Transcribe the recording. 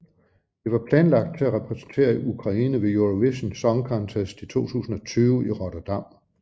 Det var planlagt til at repræsentere Ukraine ved Eurovision Song Contest 2020 i Rotterdam